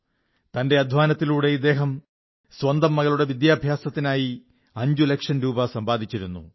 തന്റെ അധ്വാനത്തിലുടെ ഇദ്ദേഹം സ്വന്തം മകളുടെ വിദ്യാഭ്യാസത്തിനായി അഞ്ചുലക്ഷം രൂപ സമ്പാദിച്ചിരുന്നു